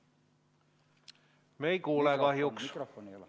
Me ei kuule kahjuks.